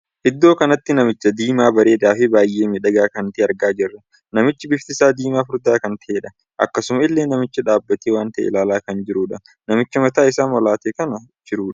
Iddoo kanatti namicha diimaa bareedaa fi baay'ee miidhagaa kan tahee argaa jirra. namichi bifti isaa diimaa furdaa kan tahedha. akkasuma illee namichi dhaabbatee waan tahe ilaalaa kan jirudha. namichi mataa isaa molaatee kan jirudha.